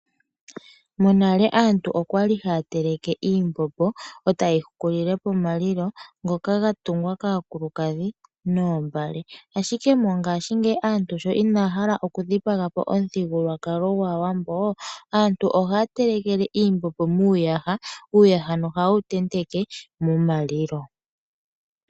Monale aantu okwali haya teleke iimbombo eta yeyi hukulile pomalilo ngoka ga tungwa kaakulukadhi noombale ,Ashike mongaashingeyi aantu sho inaya hala oku dhipagapo omuthigululwakalo gwaawambo aantu ohaya telekelw iimbombo miiyaha. Miiyaha oha yewu tenteke momalilo.